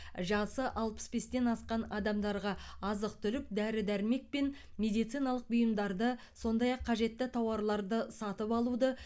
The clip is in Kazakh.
жасы алпыс бестен асқан адамдарға азық түлік дәрі дәрмек пен медициналық бұйымдарды сондай ақ қажетті тауарларды сатып алуды